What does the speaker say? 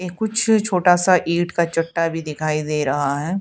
ये कुछ छोटा सा ईंट का चट्टा भी दिखाई दे रहा है।